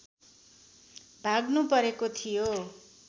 भाग्नुपरेको थियो